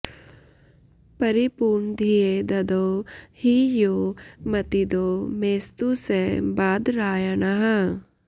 परिपूर्णधिये ददौ हि यो मतिदो मेस्तु स बादरायणः